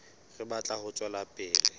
re batla ho tswela pele